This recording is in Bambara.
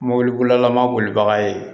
Mɔbilibolila ma bolibaga ye